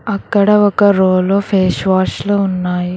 అక్కడ ఒక రోలో ఫేస్ వాష్లు ఉన్నాయి.